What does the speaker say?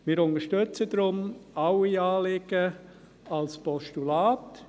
Wir unterstützen deshalb alle Anliegen als Postulat.